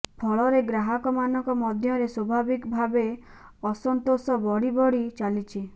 ଫଳରେ ଗ୍ରାହକ ମାନଙ୍କ ମଧ୍ୟରେ ସ୍ୱଭାବିକ ଭାବେ ଅସନ୍ତୋଷ ବଢିବଢି ଚାଲିଛି